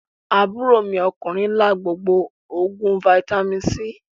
Aburo mi okunrin la gbogbo oguin Fítàmì C.